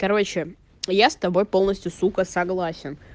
короче я с тобой полностью сука согласен